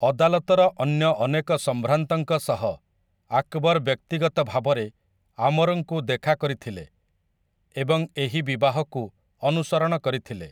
ଅଦାଲତର ଅନ୍ୟ ଅନେକ ସମ୍ଭ୍ରାନ୍ତଙ୍କ ସହ, ଆକବର ବ୍ୟକ୍ତିଗତ ଭାବରେ ଆମରଙ୍କୁ ଦେଖା କରିଥିଲେ ଏବଂ ଏହି ବିବାହକୁ ଅନୁସରଣ କରିଥିଲେ ।